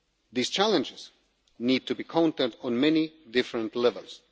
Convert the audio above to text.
These challenges need to be countered on many different